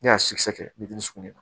Ne y'a sikisɛ kɛ bitɔn suguya la